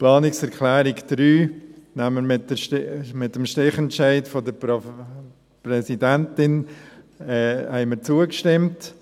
Der Planungserklärung 3 haben wir mit Stichentscheid der Präsidentin zugestimmt.